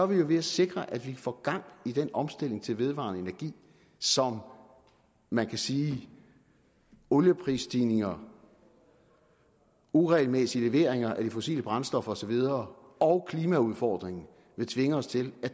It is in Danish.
vi jo ved at sikre at vi får gang i den omstilling til vedvarende energi som man kan sige olieprisstigninger uregelmæssige leveringer af de fossile brændstoffer og så videre og klimaudfordringen vil tvinge os til at